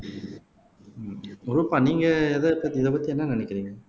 அஹ் ரூபா நீங்க இதப்பத்தி இதைப்பத்தி என்ன நினைக்கிறீங்க